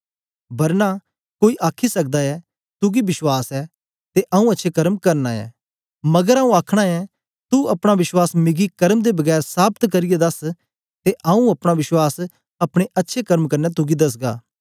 बरना कोई आखी सकदा ऐ तुगी विश्वास ऐ ते आऊँ अच्छे कर्म करना ऐं मगर आऊँ आखना ऐं तू अपना विश्वास मिकी कर्म दे बगैर साबत करियै दस ते आऊँ अपना विश्वास अपने अच्छे कर्म क्न्ने तुगी दसगा